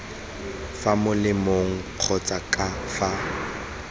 fa molemeng kgotsa ka fa